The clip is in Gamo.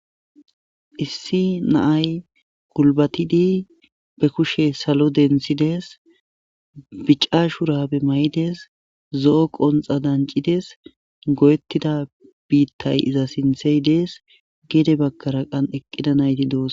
issi naay kulbatidi be kushe salo dentsides bica shurabe may7des zo7o qonxa dancides go7ettida biittay iza sinthey dees geede bakkara qan eqqida nayti doos